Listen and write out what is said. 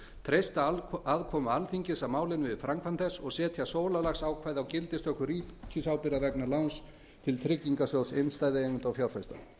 treysta aðkomu alþingis að málinu við framkvæmd þess og setja sólarlagsákvæði á gildistöku ríkisábyrgðar vegna láns til tryggingarsjóðs innstæðueigenda og fjárfesta